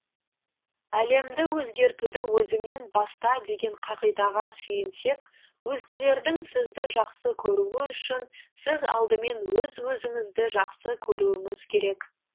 әлемді өзгертуді өзіңнен баста деген қағидаға сүйенсек өзгелердің сізді жақсы көруі үшін сіз алдымен өз өзіңізді жақсы көруіңіз керек